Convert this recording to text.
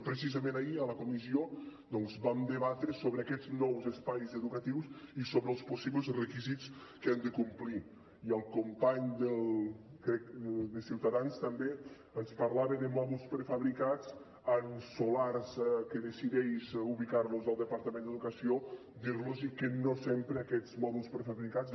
precisament ahir a la comissió doncs vam debatre sobre aquests nous espais educatius i sobre els possibles requisits que han de complir i el company crec de ciutadans també ens parlava de mòduls prefabricats en solars que decideix ubicar los el departament d’educació dir los que no sempre aquests mòduls prefabricats